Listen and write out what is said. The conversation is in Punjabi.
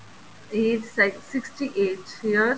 age sixty eight years